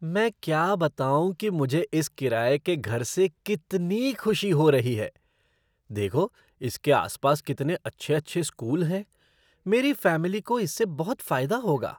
मैं क्या बताऊँ कि मुझे इस किराये के घर से कितनी खुशी हो रही है। देखो इसके आसपास कितने अच्छे अच्छे स्कूल हैं। मेरी फ़ैमिली को इससे बहुत फ़ायदा होगा।